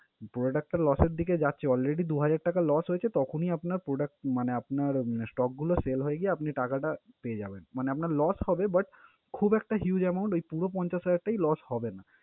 Product টা loss এর দিকে যাচ্ছে already দুহাজার টাকা loss হয়েছে, তখনই আপনার produc~ মানে আপনার stock গুলো sale হয়ে গিয়ে আপনি টাকাটা পেয়ে যাবেন। মানে আপনার loss হবে but খুব একটা huge amount ওই পুরো পঞ্চাশ হাজার টাই loss হবে না।